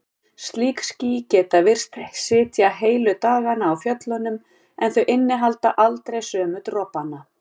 Slík ský geta virst sitja heilu dagana á fjöllunum en þau innihalda aldrei sömu dropana.